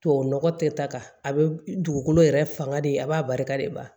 Tubabu nɔgɔ tɛ ta ka a bɛ dugukolo yɛrɛ fanga de a b'a barika de ban